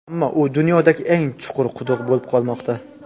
Ammo u dunyodagi eng chuqur quduq bo‘lib qolmoqda.